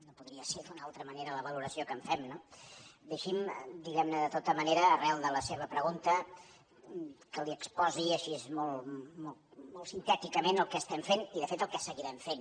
no podria ser d’una altra manera la valoració que en fem no deixi’m de tota manera arran de la seva pregunta que li exposi així molt sintèticament el que estem fent i de fet el que seguirem fent